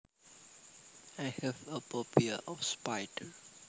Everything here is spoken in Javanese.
I have a phobia of spiders